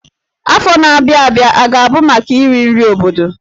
Afọ na-abịa abịa a ga-abụ maka iri nri obodo?